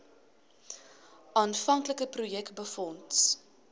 aanvanklike projek befonds